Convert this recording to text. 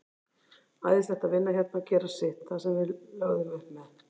Æðislegt að vinna hérna og gera sitt, það sem við lögðum upp með.